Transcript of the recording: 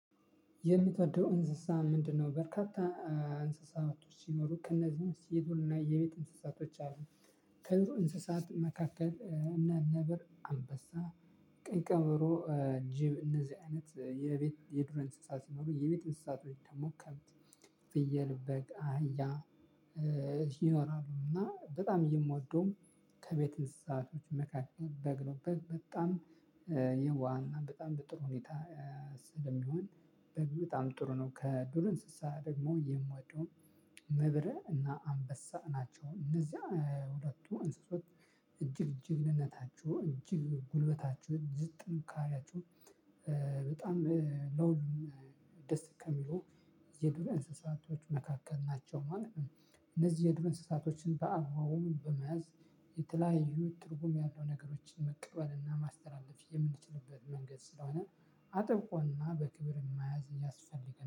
የምትወደው እንስሳ ምንድነው? በርካታ እንስሳቶች ሲኖሩ ከእነዚህ ውስጥ የዱርና የቤት እንስሳቶች አሉ። ከዱር እንስሳት መካከል እነ ነብር አንበሳ ቀይ ቀበሮ ጅብ እነዚህ አይነት የቤት የዱር እንስሳት ሲኖሩ የቤት እንስሳት ወይም ደግሞ ከብት ፍየል በግ አህያ ይኖራሉ እና በጣም የምወደውም ከቤት እንስሳት መካከል በግ ነው። በግ በጣም የዋህና በጣም በጥሩ ሁኔታ ስለሚሆን በግ በጣም ጥሩ ነው። ከዱር እንስሳ ደግሞ የምወደው ነብር እና አንበሳ ናቸው። እነዚያ ሁለቱ እንስሶች እጅግ ጀግንነታቸው እጅግ ጉልበታቸው እጅግ ጥንካሬያቸው በጣም ለሁሉም ደስ ከሚሉ የዱር እንስሳቶች መካከል ናቸው ማለት ነው። እነዚህ የዱር እንስሳቶችን በአግባቡ በመያዝ የተለያዩ ትርጉም ያለው ነገሮችን መቀበልና ማስተላለፍ የምንችልበት መንገድ ስለሆነ አጥብቆና በክብር መያዝ ያስፈልጋል